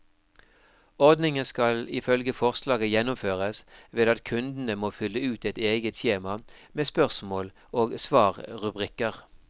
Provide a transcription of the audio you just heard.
Ordningen skal ifølge forslaget gjennomføres ved at kundene må fylle ut et eget skjema med spørsmål og svarrubrikker.